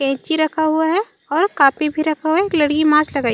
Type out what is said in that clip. कैंची रखा हुआ है और कॉपी भी रखा हुआ है एक लड़की मास्क लगाई--